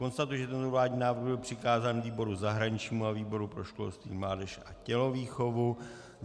Konstatuji, že tento vládní návrh byl přikázán výboru zahraničnímu a výboru pro školství, mládež a tělovýchovu.